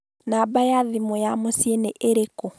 Namba ya thimũ ya mũciĩ nĩ ĩrĩkũ?